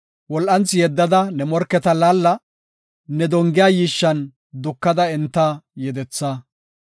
Wol7anthi yeddada ne morketa laalla; ne dongiya yiishshan dukada enta yedetha.